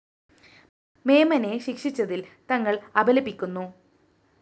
മേമനെ ശിക്ഷിച്ചതില്‍ തങ്ങള്‍ അപലപിക്കുന്നു